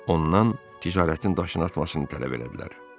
Ondan ticarətin daşını atmasını tələb elədilər.